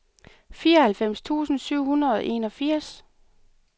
fireoghalvfems tusind syv hundrede og enogfirs